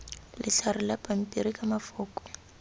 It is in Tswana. letlhare la pampiri ka mafoko